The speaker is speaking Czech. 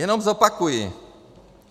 Jenom zopakuji.